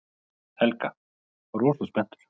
Helga: Rosa spenntur?